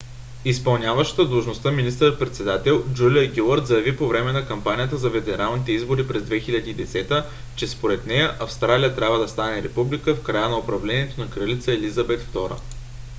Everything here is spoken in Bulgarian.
изпълняващата длъжността министър-председател джулия гилард заяви по време на кампанията за федералните избори през 2010 г. че според нея австралия трябва да стане република в края на управлението на кралица елизабет ii